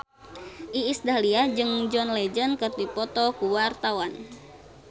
Iis Dahlia jeung John Legend keur dipoto ku wartawan